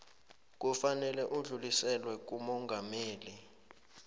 kufanele udluliselwe kumongameli